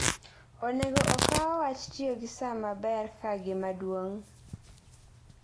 Onego okaw wach tiyo gi sa maber kaka gima duong'.